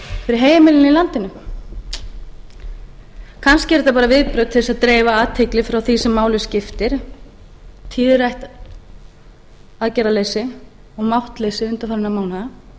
fyrir heimilin í landinu kannski eru þetta bara viðbrögð til þess að dreifa athygli frá því sem máli skiptir þýðir aðgerðarleysi og máttleysi undanfarinna mánaða